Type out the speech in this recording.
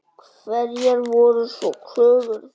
Hverjar voru svo kröfur þeirra?